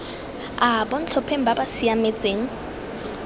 a bontlhopheng ba ba siametseng